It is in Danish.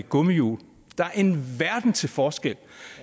gummihjul der er en verden til forskel